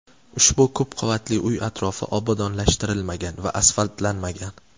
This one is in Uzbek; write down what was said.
Ushbu ko‘p qavatli uy atrofi obodonlashtirilmagan va asfaltlanmagan.